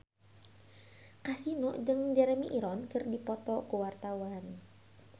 Kasino jeung Jeremy Irons keur dipoto ku wartawan